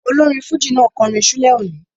Olórin fújì náà kọrin ṣúlẹ̀ òní